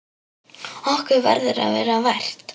Okkur verður að vera vært!